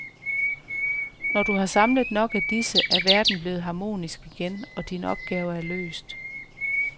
Når du har samlet nok af disse, er verden blevet harmonisk igen, og din opgave er løst.